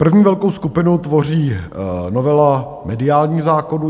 První velkou skupinu tvoří novela mediálních zákonů.